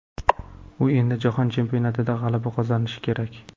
U endi Jahon Chempionatida g‘alaba qozonishi kerak.